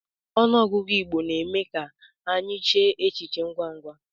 Ọnụọgụgụ Igbo na-eme ka anyị chee e echiche ngwa ngwa.